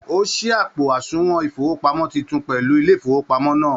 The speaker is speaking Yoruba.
O sí àpo àsùnwòn ifowopamọ títún pẹlú ilé ifowopamọ náà.